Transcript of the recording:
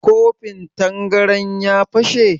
Kofin tangaran ya fashe?